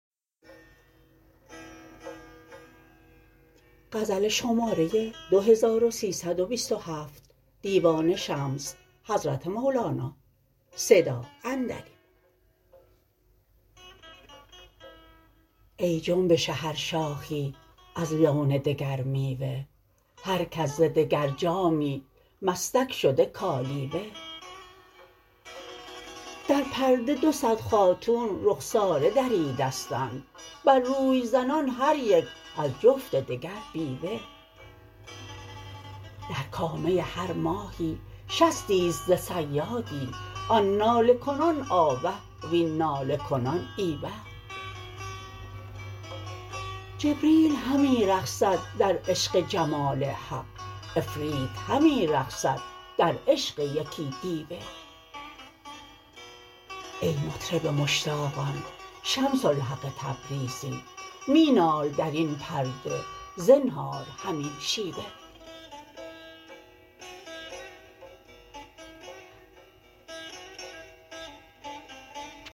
ای جنبش هر شاخی از لون دگر میوه هر کس ز دگر جامی مستک شده کالیوه در پرده دو صد خاتون رخساره دریدستند بر روی زنان هر یک از جفت دگر بیوه در کامه هر ماهی شستی است ز صیادی آن ناله کنان آوه وین ناله کنان ای وه جبریل همی رقصد در عشق جمال حق عفریت همی رقصد در عشق یکی دیوه ای مطرب مشتاقان شمس الحق تبریزی می نال در این پرده زنهار همین شیوه